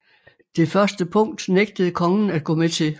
Det første punkt nægtede kongen at gå med til